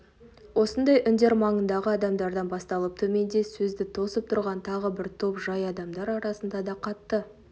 осындай үндер маңындағы адамдардан басталып төменде сөзді тосып тұрған тағы бір топ жай адамдар арасында да қатты